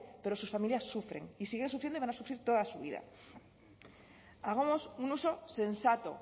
pero sus familias sufren y siguen sufriendo y van a sufrir toda su vida hagamos un uso sensato